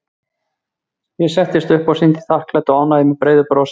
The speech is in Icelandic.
Ég settist upp og sýndi þakklæti og ánægju með breiðu brosi.